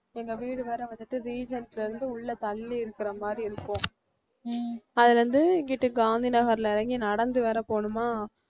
எங்க வீடு வேற வந்துட்டு இருந்து உள்ள தள்ளி இருக்கிற மாதிரி இருக்கும் அதுல இருந்து இங்கிட்டு காந்தி நகர்ல இறங்கி நடந்து வேற போகணுமா